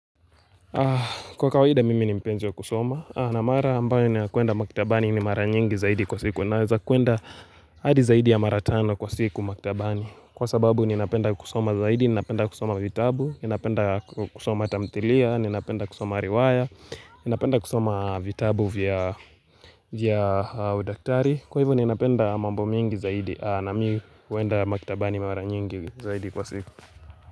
Kwa kawaida mimi ni mpenzi kusoma na mara ambayo ni kuenda makitabani ni mara nyingi zaidi kwa siku Naweza kuenda hadi zaidi ya maratano kwa siku makitabani Kwa sababu ni napenda kusoma zaidi, ni napenda kusoma vitabu ni napenda kusoma tamtilia, ni napenda kusoma riwaya ni napenda kusoma vitabu vya udaktari Kwa hivu ni napenda mambo mingi zaidi na mi kuenda makitabani ni mara nyingi zaidi kwa siku.